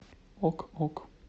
ок ок